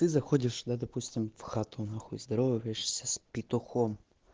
ты заходишь да допустим в хату нахуй здороваешься с петухом